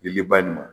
I bɛ ba nin